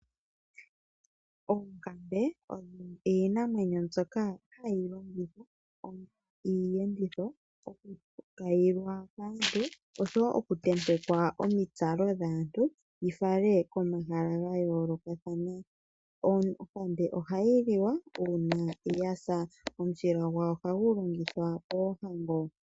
Oonkambe odho iinamwenyo mbyoka hayi longithwa onga iiyenditho oku kayilwa kaantu oshowo oku tentekwa omitsalo dhaantu yi fale komahala ga yoolokathana. Onkambe ohayi liwa uuna yasa, omushila gwawo ohagu longithwa poohango.